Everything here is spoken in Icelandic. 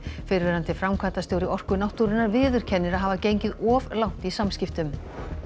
fyrrverandi framkvæmdastjóri Orku náttúrunnar viðurkennir að hafa gengið of langt í samskiptum